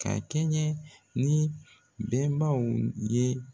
Ka kɛɲɛ ni bɛnnbaw ye